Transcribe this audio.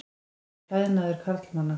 Það er klæðnaður karlmanna.